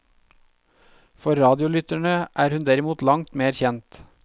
For radiolytterne er hun derimot langt mer kjent.